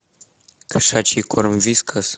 кошачий корм вискас